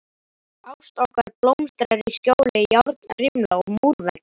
Ást okkar blómstrar í skjóli járnrimla og múrveggja.